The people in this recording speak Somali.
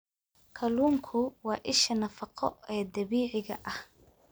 Kalluunku waa isha nafaqo ee dabiiciga ah.